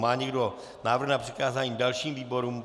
Má někdo návrh na přikázání dalším výborům?